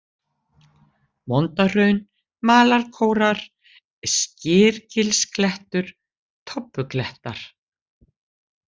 Vondahraun, Malarkórar, Skyrgilsklettur, Tobbuklettar